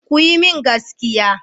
Ku yi min gaskiya.